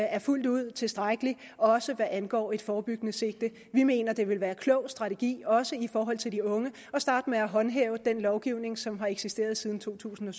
er fuldt ud tilstrækkelig også hvad angår et forebyggende sigte vi mener det vil være klog strategi også i forhold til de unge at starte med at håndhæve den lovgivning som har eksisteret siden totusinde